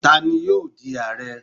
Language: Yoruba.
tanni yoo di Aare?